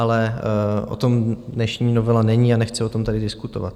Ale o tom dnešní novela není a nechci o tom tady diskutovat.